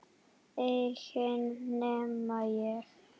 Enginn nema ég